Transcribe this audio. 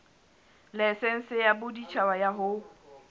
laesense ya boditjhaba ya ho